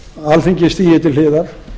alþingi stígi til hliðar